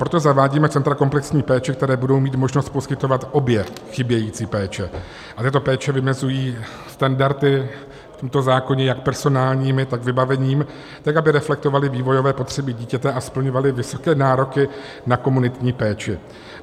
Proto zavádíme centra komplexní péče, která budou mít možnost poskytovat obě chybějící péče, a tyto péče vymezují standardy v tomto zákoně jak personální, tak vybavením, tak aby reflektovaly vývojové potřeby dítěte a splňovaly vysoké nároky na komunitní péči;